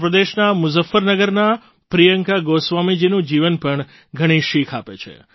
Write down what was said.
ઉત્તર પ્રદેશના મુઝફ્ફરનગરનાં પ્રિયંકા ગોસ્વામીજીનું જીવન પણ ઘણી શીખ આપે છે